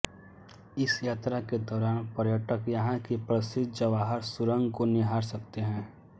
इस यात्रा के दौरान पर्यटक यहाँ की प्रसिद्ध जवाहर सुरंग को निहार सकते हैं